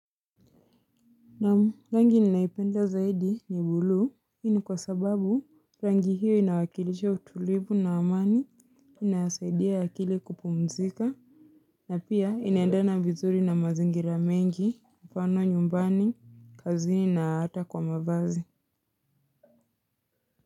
Naam, rangi ninaipenda zaidi ni bluu, hii ni kwa sababu rangi hiyo inawakilisha utulivu na amani, inasaidia akili kupumzika, na pia inaendana vizuri na mazingira mengi, mfano nyumbani, kazini na hata kwa mavazi.